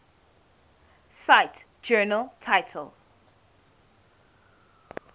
cite journal title